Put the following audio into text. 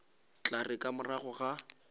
tla re ka morago ga